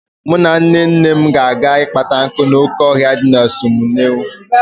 Mụ na Nnenne m ga-eje ịkpata nkụ n'oke ọhịa dị na ọsụmoghu.